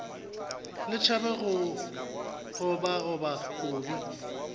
le tšhabe go obaoba kobi